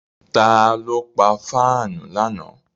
Ta ló pa fáànù lánàá?